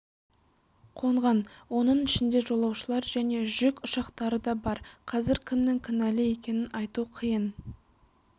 қонған оның ішінде жолаушылар және жүк ұшақтары да бар қазір кімнің кінәлі екенін айту қиын